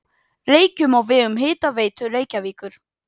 Reykjum á vegum Hitaveitu Reykjavíkur.